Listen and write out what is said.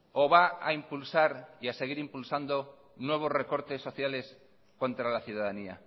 o va a impulsar y seguir impulsando nuevos recortes sociales contra la ciudadanía